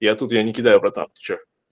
я тут я не кидаю братан ты что